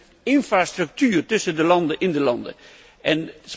De infrastructuur tussen de landen, in de landen en